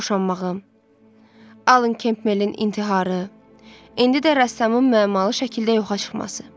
Mənim boşanmağım, Alen Kemplərin intiharı, indi də rəssamın mənalı şəkildə yoxa çıxması.